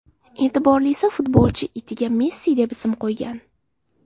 E’tiborlisi, futbolchi itiga Messi deb ism qo‘ygan.